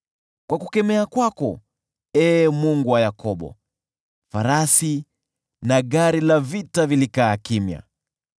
Kwa kukemea kwako, Ee Mungu wa Yakobo, farasi na gari la vita vilikaa kimya.